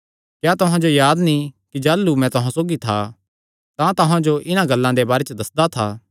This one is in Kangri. क्या तुहां जो याद नीं कि जाह़लू मैं तुहां सौगी था तां तुहां जो इन्हां गल्लां दे बारे च दस्सदा था